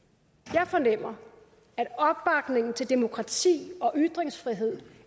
jeg fornemmer at opbakningen til demokrati og ytringsfrihed